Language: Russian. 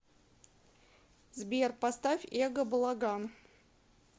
сбер поставь эго балаган